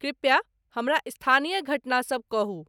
कृप्या हमरा स्थानीय घटना सभ कहू